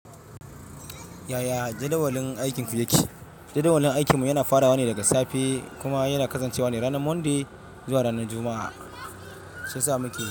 Yaya jadawalin aikinku yake? Jadawalin aikinmu yana farawa ne daga safe kuma yana kasancewa ne ranar Monday zuwa ranar Juma'a. Shiya sa muke.